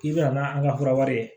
K'i bɛna n'a an ka fura wɛrɛ